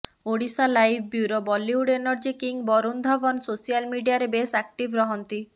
Odisha live bureau Bollywood energy king Varun Dhawan social ମିଡିଆରେ ବେଶ୍ active ରହନ୍ତି